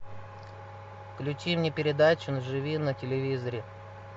включи мне передачу живи на телевизоре